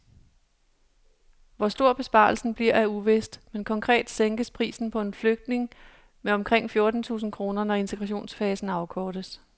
Hvor stor besparelsen bliver er uvist, men konkret sænkes prisen på en flygtning med omkring fjorten tusind kroner, når integrationsfasen afkortes.